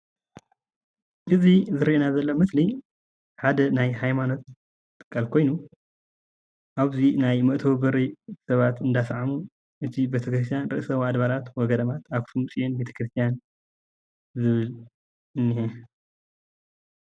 እዙይ ዝርአየና ዘሎ ምስሊ ሓደ ናይ ሃይማኖት ትካል ኮይኑ አብዚ ናይ መእተዊ በሪ ከባቢ እንዳሰዓሙ እቲ ቤተክርስቲያን ርዕሰ አድባራት ወገዳማት አክሱም ጽዮን ቤተክርስትያን ዝብል እኒሄ።